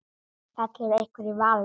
Fellur einhver í valinn?